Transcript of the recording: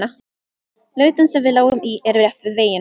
Lautin sem við lágum í er rétt við veginn.